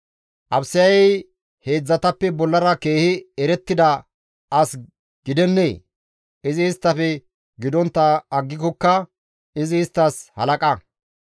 Abisayey heedzdzatappe bollara keehi erettida as gidennee? Izi isttafe gidontta aggikokka izi isttas halaqa.